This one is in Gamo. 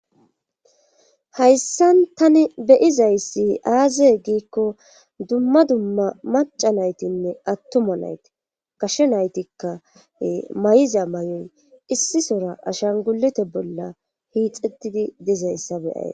hayssan tani be'izayssi aaze giikko dumma dumma maca naytinne attuma nayti kashe naytikka may'iza may7o' issisora ashan gulete bolla hiixetidi dizayssa beyayy